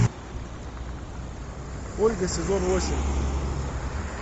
ольга сезон восемь